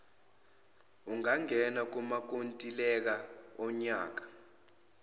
ungangena kumakontileka onyaka